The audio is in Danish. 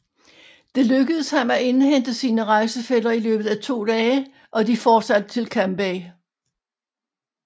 Det lykkedes ham at indhente sine rejsefæller i løbet af to dage og de fortsatte til Cambay